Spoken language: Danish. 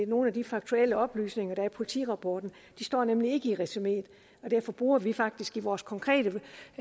nogle af de faktuelle oplysninger der er i politirapporten står nemlig ikke i resumeet og derfor bruger vi faktisk i vores konkrete